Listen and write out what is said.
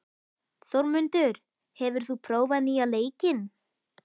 Þórmundur, hefur þú prófað nýja leikinn?